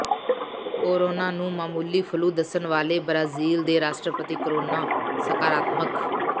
corona ਨੂੰ ਮਾਮੂਲੀ flu ਦੱਸਣ ਵਾਲੇ ਬ੍ਰਾਜੀਲ ਦੇ ਰਾਸ਼ਟਰਪਤੀ ਕੋਰੋਨਾ ਸਕਾਰਾਤਮਕ